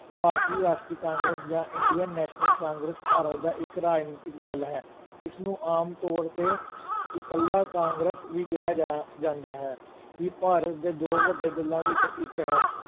ਭਾਰਤੀ Rashtriya Congress ਜਾਂ Indian National Congress Bharat ਦਾ ਇੱਕ ਰਾਜਨੀਤਕ ਦਲ ਹੈ, ਇਸ ਨੂੰ ਆਮ ਤੌਰ 'ਤੇ ਇਕੱਲਾ ਕਾਂਗਰਸ ਵੀ ਕਿਹਾ ਜਾ ਜਾਂਦਾ ਹੈ, ਇਹ ਭਾਰਤ ਦੇ ਦੋ ਵੱਡੇ ਦਲਾਂ ਵਿੱਚੋਂ ਇੱਕ ਹੈ।